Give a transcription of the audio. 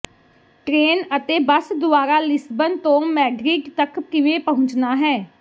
train ਅਤੇ bus ਦੁਆਰਾ Lisbon ਤੋਂ ਮੈਡਰਿਡ ਤੱਕ ਕਿਵੇਂ ਪਹੁੰਚਣਾ ਹੈ